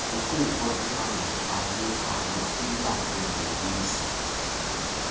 yoguqulo ebandakanyekayo iyakungenisa